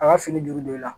A ka fini juru don i la